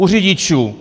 U řidičů!